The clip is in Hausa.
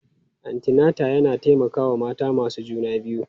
Antinata yana taimakawa mata masu juna biyu.